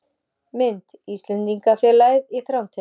Mynd: Íslendingafélagið í Þrándheimi